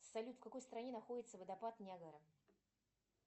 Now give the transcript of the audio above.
салют в какой стране находится водопад ниагара